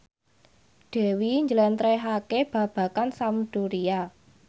Dewi njlentrehake babagan Sampdoria